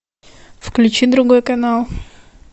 включи другой канал